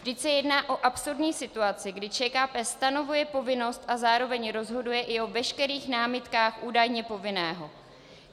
Vždyť se jedná o absurdní situaci, kdy ČKP stanovuje povinnost a zároveň rozhoduje i o veškerých námitkách údajně povinného!